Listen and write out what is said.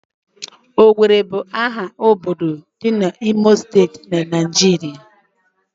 Owerri bu aha obodo di n'Imo steeti, Naijiria